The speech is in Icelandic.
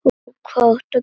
Og hvað áttu að gera?